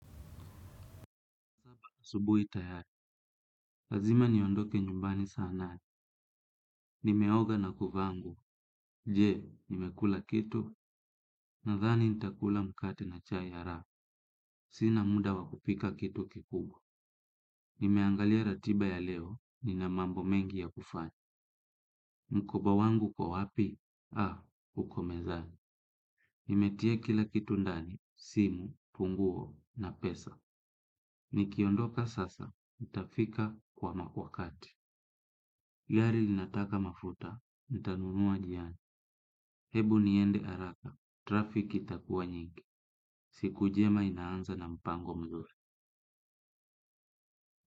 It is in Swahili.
Asubuhi tayari. Lazima niondoke nyumbani saa nane. Nimeoga na kuvaa nguo. Je, nimekula kitu. Nathani nitakula mkate na chai haraka. Sina muda wa kupika kitu kikubwa. Nimeangalia ratiba ya leo. Nina mambo mengi ya kufanya. Mkoba wangu uko wapi? Uko mezani. Nimetia kila kitu ndani. Simu, funguo na pesa. Nikiondoka sasa nitafika kwa ma wakati. Gari linataka mafuta. Nitanunua njiani. Hebu niende haraka, trafiki itakuwa nyingi. Siku jema inaanza na mpango mzuri.